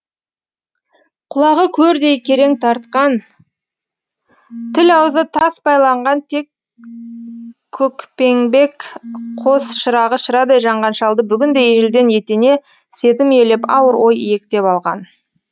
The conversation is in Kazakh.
құлағы көрдей керең тартқан тіл аузы тас байланған тек көкпеңбек қос шырағы шырадай жанған шалды бүгін де ежелден етене сезім иелеп ауыр ой иектеп алған